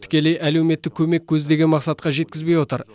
тікелей әлеуметтік көмек көздеген мақсатқа жеткізбей отыр